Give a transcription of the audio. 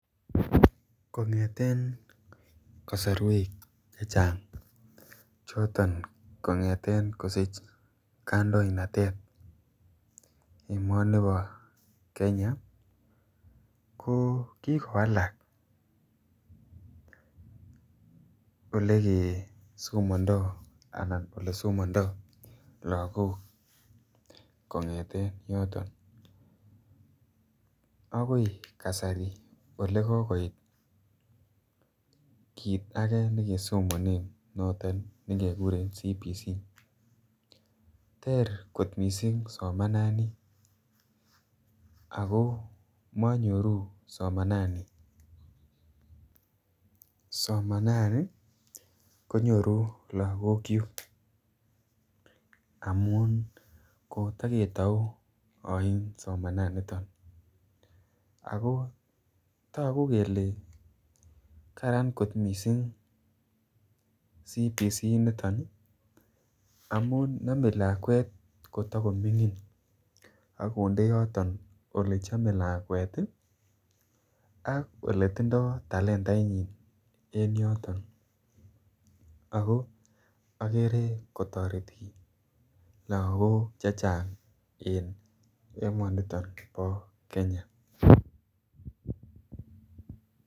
Kongeten kosorwek chechang choton kongeten kosich kandoinatet emonibo Kenya ko kikowalak olegee somondo anan ole somondo logok kongeten yoton agoi kasari ele kogoit kit age nekesomonen noton ne keguren CBC. Ter kot missing somanani ako monyoru somanani, somanani konyoru logokyuk amun koto ketou oin somanani niton ako togu kelee Karan kot missing CBC niton amun nome lakwet koto komingin ak konde yoton ole chome lakwet ii ak ole tindo talentainyin en yoton ako ogere kotoreti logok chechang en emoniton bo Kenya